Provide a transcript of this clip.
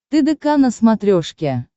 тдк на смотрешке